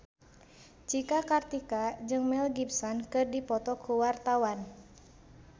Cika Kartika jeung Mel Gibson keur dipoto ku wartawan